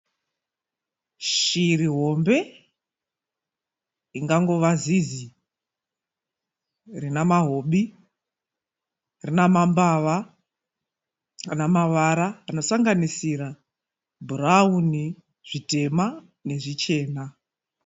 Shiri hombe ingangova zizi rinamahobi, rinamambava anamavara anosanganisira bhurauni, zvitema nezvichena.